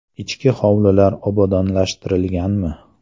I chki hovlilar obodonlashtirilganmi?